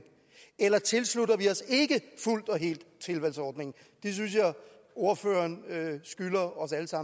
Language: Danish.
eller tilslutter vi os ikke fuldt og helt tilvalgsordningen det synes jeg ordføreren skylder